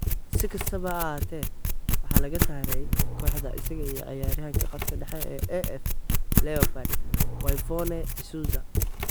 Si kastaba ha ahaatee, waxaa laga saaray kooxda isaga iyo ciyaaryahanka khadka dhexe ee AF ​​leopard Whyvonne Isuza.